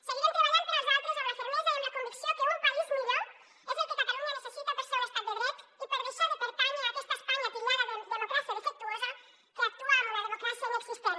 seguirem treballant per als altres amb la fermesa i amb la convicció que un país millor és el que catalunya necessita per ser un estat de dret i per deixar de pertànyer a aquesta espanya titllada de democràcia defectuosa que actua amb una democràcia inexistent